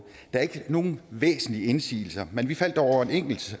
er ikke nogen væsentlige indsigelser men vi faldt dog over en enkelt